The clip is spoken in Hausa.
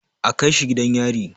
A kaishi gidan yari!